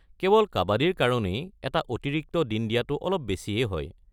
কেৱল কাবাদীৰ কাৰণেই এটা অতিৰিক্ত দিন দিয়াটো অলপ বেছিয়েই হয়।